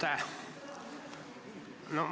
Aitäh!